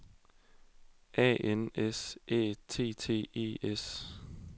A N S Æ T T E S